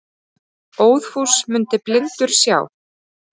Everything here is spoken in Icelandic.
Óðfús mundi blindur sjá.